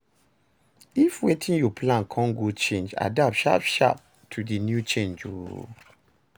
If wetin you plan con go change, adapt sharp sharp to di new change o